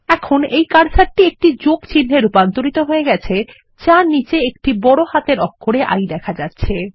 এখন এই কার্সারটি একটি যোগ চিনহে রুপান্তরিত হয়ে গেছে যার নীচে একটি বড় হাতের অক্ষরে I দেখা যাচ্ছে